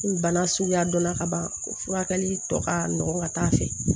Ni bana suguya dɔnna ka ban o furakɛli tɔ ka nɔgɔn ka taa fɛ